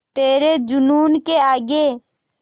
तेरे जूनून के आगे